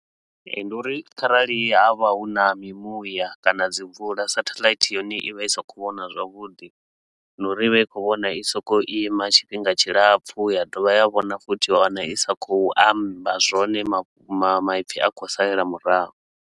Ee, ndi uri kharali ha vha hu na mimuya kana dzi mvula, satheḽaithi yone i vha i sa khou vhona zwavhuḓi. Na uri i vha i khou vhona i so ko u ima tshifhinga tshilapfu ya dovha ya vhona futhi, wa wana i sa khou amba zwone mafhu, ma maipfi a khou salela murahu.